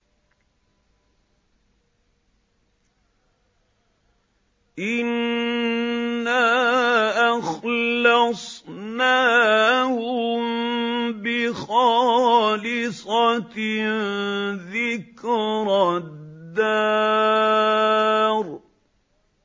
إِنَّا أَخْلَصْنَاهُم بِخَالِصَةٍ ذِكْرَى الدَّارِ